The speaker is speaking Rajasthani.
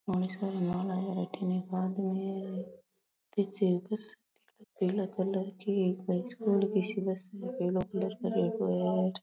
एक आदमी है पीछे एक बस पीला कलर की पीला कलर करेडो है।